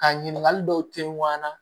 Ka ɲininkali dɔw te wa